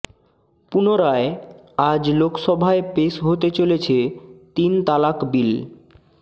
পুনরায় আজ লোকসভায় পেশ হতে চলেছে তিন তালাক বিল